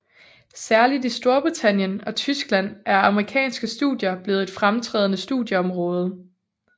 Særligt i Storbritannien og Tyskland er amerikanske studier blevet et fremtrædende studieområde